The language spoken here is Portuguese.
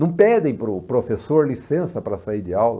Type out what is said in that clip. Não pedem para o professor licença para sair de aula.